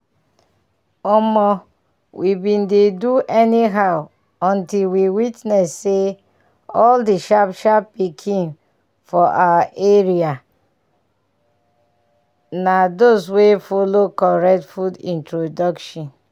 omo! we bin dey do anyhow until we witness say all the sharp-sharp pikin for um our area na those wey follow correct food introduction